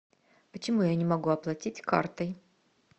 почему я не могу оплатить картой